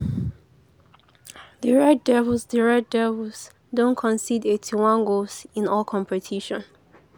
di red devils di red devils don concede eighty one goals in all competitions.